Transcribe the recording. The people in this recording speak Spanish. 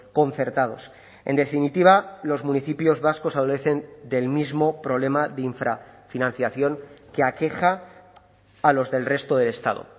concertados en definitiva los municipios vascos adolecen del mismo problema de infrafinanciación que aqueja a los del resto del estado